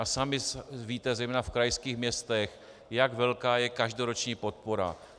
A sami víte, zejména v krajských městech, jak velká je každoroční podpora.